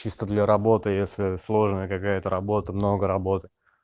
чисто для работы если сложная какая-то работа много работы